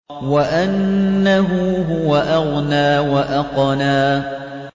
وَأَنَّهُ هُوَ أَغْنَىٰ وَأَقْنَىٰ